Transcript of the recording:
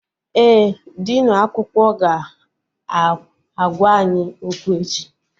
Ee, dinu akwụkwọ ga-agwa anyị okwu echi